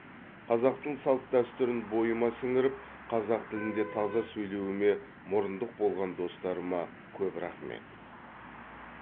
қазақтың салт дәстүрін бойыма сіңіріп қазақ тілінде таза сөйлеуіме мұрындық болған достарыма көп рахмет